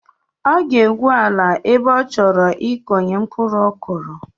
Ọ ga-egwu ala ebe ọ chọrọ ịkụnye mkpuru kọrụ